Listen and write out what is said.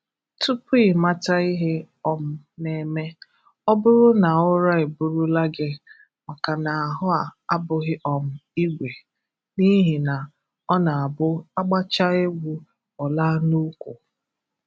tupu ị mata ihe um na-eme, ọ bụrụ na ụra eburula gị maka na ahụ a abụghị um ígwè n'ihi na ọ na-abụ a gbachaa egwu ọ laa n'úkwù